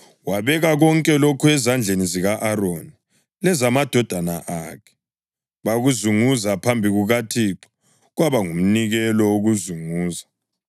Wabeka konke lokhu ezandleni zika-Aroni lezamadodana akhe, bakuzunguza phambi kukaThixo, kwaba ngumnikelo wokuzunguza.